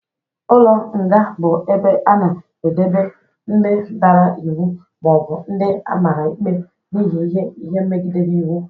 Ụlọ nga bụ ebe a na-edebe ndị dara iwu ma ọ bụ ndị amara ikpe n'ihi ime ihe megidere iwu.